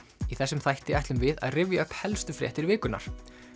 í þessum þætti ætlum við að rifja upp helstu fréttir vikunnar